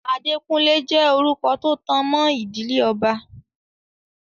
Adékúnlé jẹ́ orúkọ tó tanmọ́ ìdílé ọba.